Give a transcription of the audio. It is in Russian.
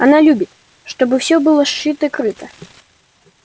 она любит чтобы все было шито-крыто